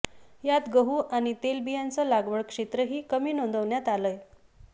यात गहू आणि तेलबियांचं लागवड क्षेत्रही कमी नोंदवण्यात आलंय